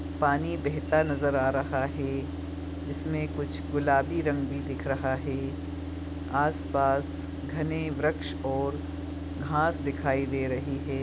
पानी बहता नजर आ रहा है इसमें कुछ गुलाबी रंग भी दिख रहा है आस पास घने बृक्ष और घास दिखाई दे रहे है।